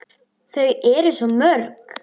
Þau eru svo mörg.